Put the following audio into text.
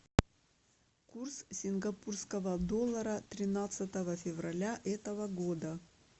курс сингапурского доллара тринадцатого февраля этого года